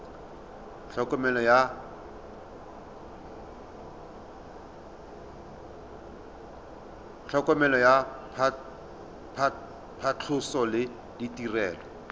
tlhokomelo ya phatlhoso le ditirelo